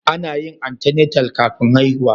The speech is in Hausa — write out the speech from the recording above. Ana yin antenatal kafin haihuwa